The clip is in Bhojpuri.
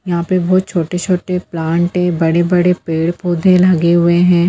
यहाँ पे बहोत छोटे-छोटे प्लांट है बड़े-बड़े पेड़-पौधे लगे हुए हैं।